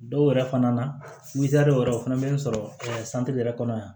Dɔw yɛrɛ fana na wɛrɛ o fana bɛ n sɔrɔ yɛrɛ kɔnɔ yan